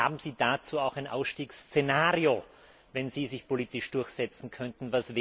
Haben Sie dazu auch ein Ausstiegsszenario, wenn Sie sich politisch durchsetzen könnten?